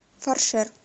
фаршер